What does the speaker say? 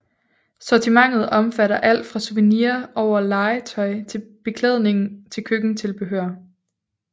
Sortimentet omfatter alt fra souvenirs over legetøj og beklædning til køkkentilbehør